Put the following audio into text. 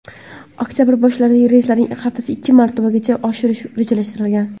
Oktabrdan boshlab reyslarni haftasiga ikki marotabagacha oshirish rejalashtirilgan.